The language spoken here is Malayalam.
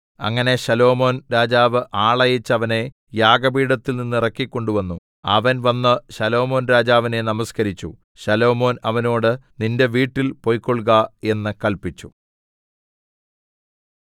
അങ്ങനെ ശലോമോൻ രാജാവ് ആളയച്ച് അവനെ യാഗപീഠത്തിൽ നിന്ന് ഇറക്കി കൊണ്ടുവന്നു അവൻ വന്ന് ശലോമോൻരാജാവിനെ നമസ്കരിച്ചു ശലോമോൻ അവനോട് നിന്റെ വീട്ടിൽ പൊയ്ക്കൊൾക എന്ന് കല്പിച്ചു